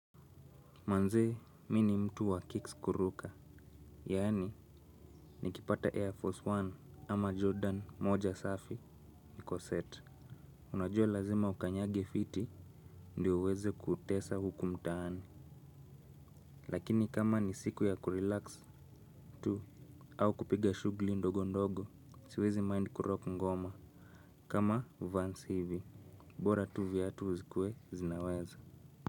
Manze, mi ni mtu wa kicks kuruka. Yaani, nikipata air force one ama jordan moja safi niko set. Unajua lazima ukanyage fiti ndio uweze kutesa huku mtaani. Lakini kama ni siku ya kurelax tu au kupiga shugli ndogo ndogo, siwezi mind kurock ngoma. Kama vans hivi bora tu viatu zikuwe zinaweza.